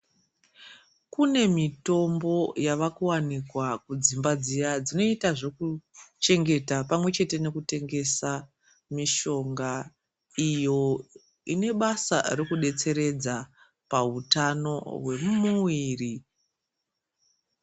Kune mitombo yavakuwanikwa kudzimba dziya dzinoita zvekuchengete pamwe chete nekutengesa mishonga iyo inebasa rekudetseredza pahutano hwemumuviri.